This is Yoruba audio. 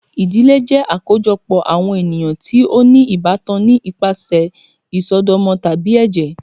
Ìdílé jẹ akojọpọ awọn eniyan ti o ni ibatán ni ipasẹ isọdọmọ tabi ẹjẹ.